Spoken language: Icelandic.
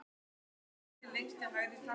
En hvað gerist svo?